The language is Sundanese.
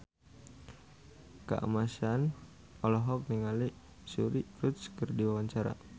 Kamasean olohok ningali Suri Cruise keur diwawancara